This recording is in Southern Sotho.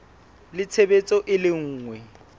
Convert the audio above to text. le tshebetso e le nngwe